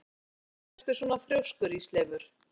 Af hverju ertu svona þrjóskur, Ísleifur?